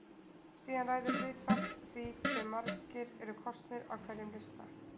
Síðan ræður hlutfall því hve margir eru kosnir af hverjum lista.